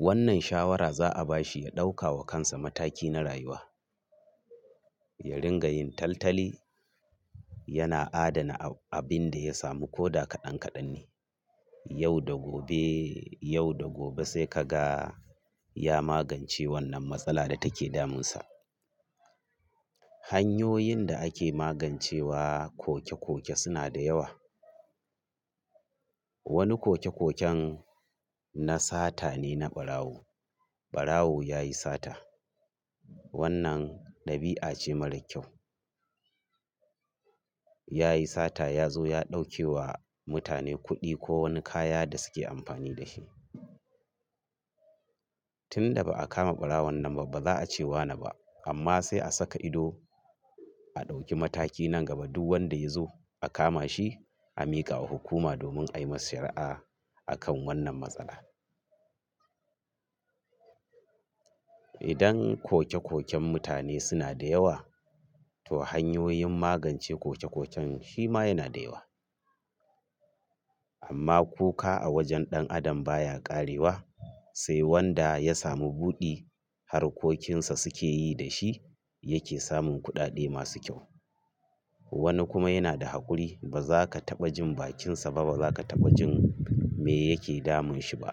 Wannan shawara za a ba shi ya ɗauka wa kansa mataki na rayuwa. Ya ringa yin taltali yana adana ab-abin da ya samu ko da kaɗan kaɗan ne. Yau da gobe, yau da gobe sai ka ga ya magance wannan matsala da take damunsa. Hanyoyin da ake magancewa koke-koke suna da yawa. Wani koke-koken na sata ne na ɓarawo. Ɓarawo ya yi sata. Wannan dabi'a ce mara kyau. Ya yi sata ya zo ya ɗauke wa mutane kuɗi ko wani kaya da suke amfani da shi. Tun da ba a kama ɓarawo wannan ba ba za a ce wa na ba amma sai a saka ido a ɗauki mataki nan gaba duk wanda ya zo a kama shi a miƙa wa hukuma domin a yi masa shari'a akan wannan matsala. Idan koke-koken mutane suna da yawa to hanyoyin magance koke-koken shi ma yana da yawa. Amma kuka a wajen ɗan adam baya ƙarewa sai wanda ya samu buɗi harkokinsa suke yi da shi yake samun kuɗaɗe masu kyau. Wani kuma yana da haƙuri ba za ka taɓa jin bakinsa ba ba za ka taɓa jin me yake damun shi ba.